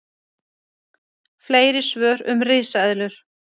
Fleiri svör um risaeðlur: